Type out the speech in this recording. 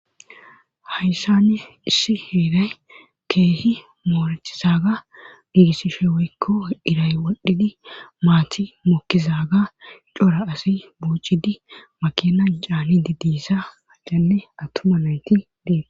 Hayssani issi heeray keehi moorettizaaga giigisishe woykko iray wodhidi maati mokkizaaga cora asu i buuccidi makina caannidi deyssa maccanne attuma nayti deete.